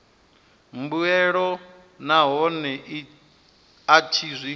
mbuelo nahone a tshi zwi